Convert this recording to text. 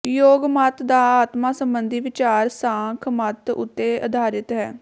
ਯੋਗ ਮਤ ਦਾ ਆਤਮਾ ਸਬੰਧੀ ਵਿਚਾਰ ਸਾਂਖ ਮਤ ਉਤੇ ਆਧਾਰਿਤ ਹੈ